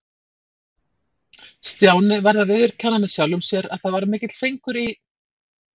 Stjáni varð að viðurkenna með sjálfum sér að það var mikill fengur í